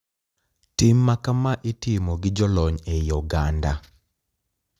Tim makama itimo gi jolony e I oganda.